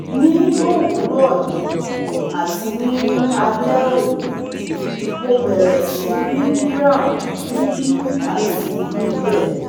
Ni owurọ yii ati ni alẹ oni Mo bẹrẹ si ri brown nibi ati nibẹ